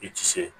I ti se